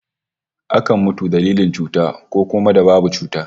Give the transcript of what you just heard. Akan mutu dalilin cuta, ko kuma da babu cuta